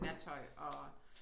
I nattøj og